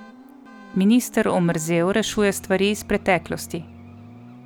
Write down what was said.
Minister omerzel rešuje stvari iz preteklosti.